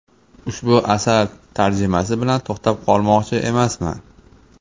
Ushbu asar tarjimasi bilan to‘xtab qolmoqchi emasman.